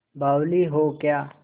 बावली हो क्या